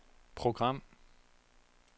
program